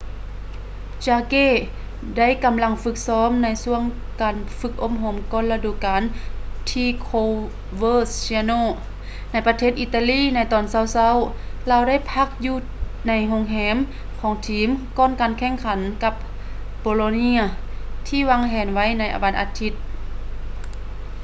ຈາເກ jarque ໄດ້ກຳລັງຝຶກຊ້ອມໃນຊ່ວງການຝຶກອົບຮົມກ່ອນລະດູການທີ່ ໂຄເວີເຊຍໂນ່ coverciano ໃນປະເທດ ອິຕາລີ ໃນຕອນເຊົ້າໆ. ລາວໄດ້ພັກຢູ່ໃນໂຮງແຮມຂອງທີມກ່ອນການແຂ່ງຂັນກັບ ໂບໂລເນຍ bolonia ທີ່ວາງແຜນໄວ້ໃນວັນອາທິດ